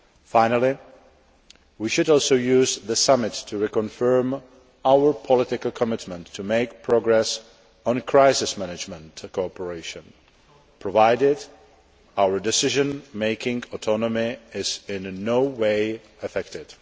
Finally, we should also use the summit to reconfirm our political commitment to make progress on crisis management cooperation provided our decision making autonomy is in no way affected.